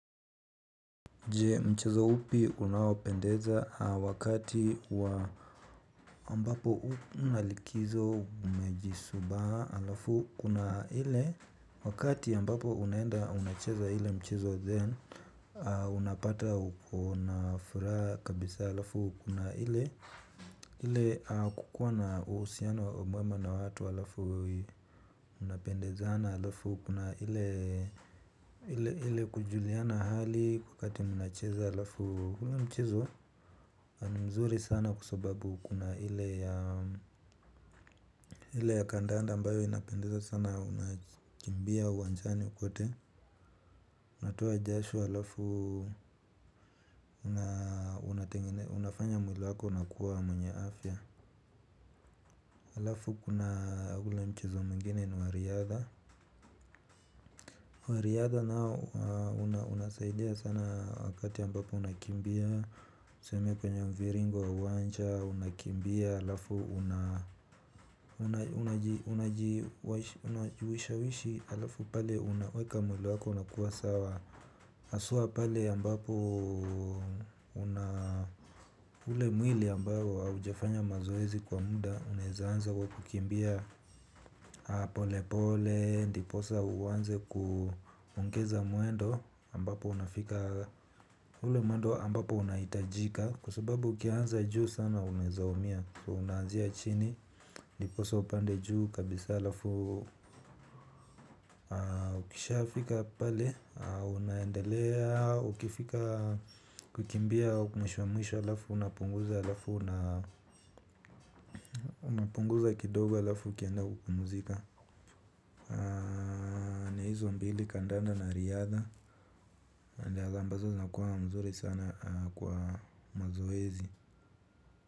Je mchezo upi unaopendeza wakati wa ambapo unalikizo umejisubaha alafu kuna ile wakati ambapo unaenda unacheza ile mchezo zen unapata ukona furaha kabisa alafu kuna ile ile kukua na uhusiano wa umwema na watu alafu unapendezana alafu kuna ile kujuliana hali wakati unacheza alafu unaona mchezo ni mzuri sana kwasababu kuna ili ile ya kandanda ambayo inapendezana sana unakimbia uwanjani kwote. Natoa jasho alafu unafanya mwili wako unakuwa mwenye afya alafu kuna ule mchezo mwingine ni wariadha wariadha nao unasaidia sana wakati ambapo unakimbia tuseme kwenye mviringo wa uwanja, unakimbia, alafu unajiwisha wishi alafu pale unaweka mwili wako unakuwa sawa aswa pale ambapo ule mwili ambao haujafanya mazoezi kwa muda, unaeza anza kwa kukimbia. Apolepole ndiposa uanze kuuongeza mwendo ambapo unafika. Ule mwendo ambapo unahitajika kwasababu ukianza juu sana unaeza umia. Kwa unaanzia chini ndiposa upande juu kabisa alafu ukisha fika pale unaendelea ukifika kukimbia mwisho mwisho alafu unapunguza alafu unapunguza kidogo alafu ukienda kupumzika. Na ni hizo mbili kandanda na riadha nandi ambazo zina kuwa mzuri sana kwa mazoezi.